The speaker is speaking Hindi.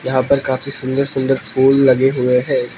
यहां पर काफी सुंदर सुंदर फूल लगे हुए हैं।